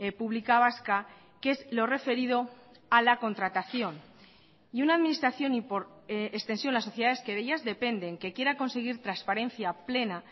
pública vasca que es lo referido a la contratación y una administración y por extensión las sociedades que de ellas dependen que quiera conseguir transparencia plena